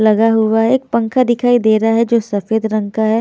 लगा हुआ है एक पंखा दिखाई दे रहा है जो सफेद रंग का है।